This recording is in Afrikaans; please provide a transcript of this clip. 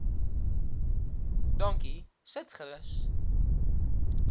dankie sit gerus